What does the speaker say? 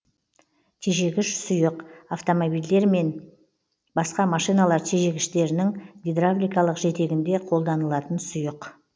тежегіш сұйық автомобильдер мен басқа машиналар тежегіштерінің гидравликалық жетегінде қолданылатын сұйық